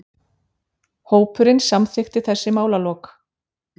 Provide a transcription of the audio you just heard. Hópurinn samþykkti þessi málalok.